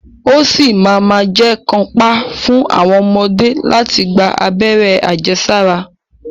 Ó ṣì ma ma jẹ́ kàńpá fún àwọn ọmọdé láti gba abẹ́rẹ́ àjẹsára.